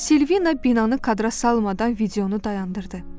Silvina binanı kadra salmadan videonu dayandırdı.